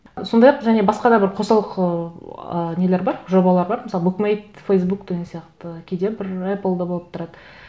сондай ақ және басқа да бір қосалқы ыыы нелер бар жобалар бар мысалы букмейт фейсбук деген сияқты кейде бір эппл де болып тұрады